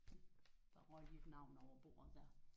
Der røg dit navn over bordet der